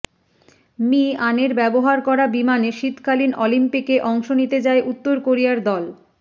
Mr আনের ব্যবহার করা বিমানে শীতকালীন অলিম্পিকে অংশ নিতে যায় উত্তর কোরিয়ার দল